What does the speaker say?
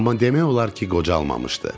Amma demək olar ki, qocalmamışdı.